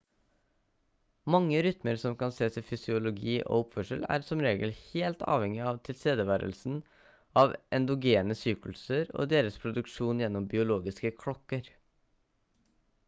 mange rytmer som kan sees i fysiologi og oppførsel er som regel helt avhengig av tilstedeværelsen av endogene sykluser og deres produksjon gjennom biologiske klokker